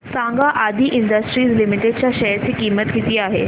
सांगा Adi industries limited च्या share ची किंमत किती आहे